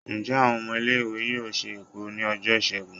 njẹ awon ọmọ ile iwe yọọ se ekuru ni ojo Isègún?